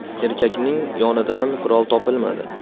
Erkakning yonidan qurol topilmadi.